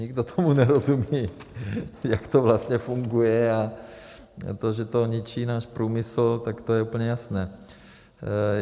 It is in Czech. Nikdo tomu nerozumí, jak to vlastně funguje, a to, že to ničí náš průmysl, tak to je úplně jasné.